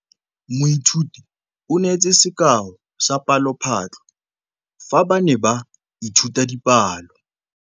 Moithuti o neetse sekaô sa palophatlo fa ba ne ba ithuta dipalo.